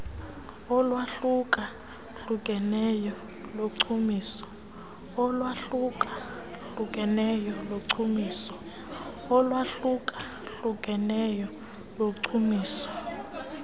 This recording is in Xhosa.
olwahluka hlukeneyo lochumiso